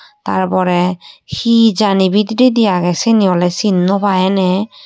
Tar porey hee jani bidiredi agey siyeni oley cin no paai eney.